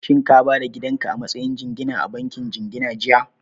Shin ka ba da gidan ka a matsayin jingina a bankin jingina jiya?